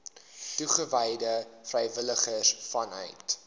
toegewyde vrywilligers vanuit